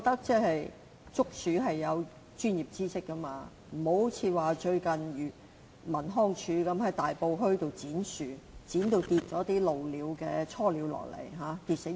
捉鼠需要專業知識，不能像最近康樂及文化事務署在大埔墟剪樹，導致鷺鳥雛鳥墮地死亡。